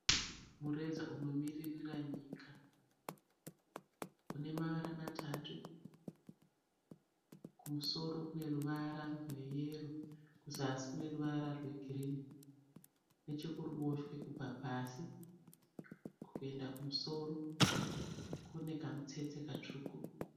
Mureza unomiririra nyika une mavara matatu, kumusoro kune ruvara rweyero, kuzasi kune ruvara rwegirini, nechekuruboshwe kubva pasi kuenda kumusoro kune kamutsetse katsvuku.